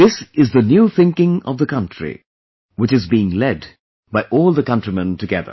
This is the new thinking of the country, which is being led by all the countrymen together